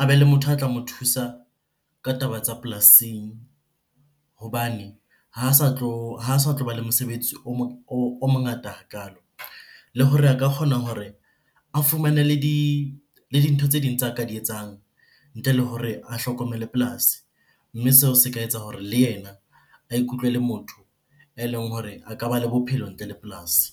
a be le motho a tla mo thusa ka taba tsa polasing hobane ha sa , ha sa tloba le mosebetsi o mongata hakalo. Le hore a ka kgona hore a fumane le dintho tse ding tsa ka di etsang ntle le hore a hlokomele polasi. Mme seo se ka etsa hore le yena a ikutlwe ele motho eleng hore a ka ba le bophelo ntle le polasi.